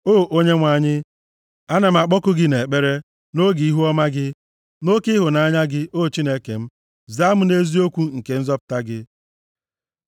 O Onyenwe anyị, ana m akpọku gị nʼekpere, nʼoge ihuọma gị; na oke ịhụnanya gị, O Chineke m, zaa m nʼeziokwu nke nzọpụta gị.